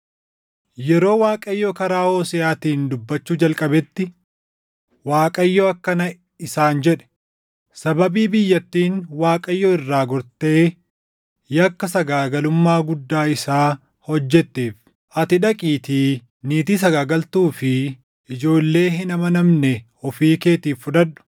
Yeroo Waaqayyo karaa Hooseʼaatiin dubbachuu jalqabetti Waaqayyo akkana isaan jedhe; “Sababii biyyattiin Waaqayyo irraa gortee yakka sagaagalummaa guddaa isaa hojjetteef ati dhaqiitii niitii sagaagaltuu fi ijoollee hin amanamne ofii keetiif fudhadhu.”